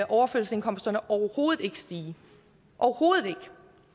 overførselsindkomsterne overhovedet ikke stige overhovedet ikke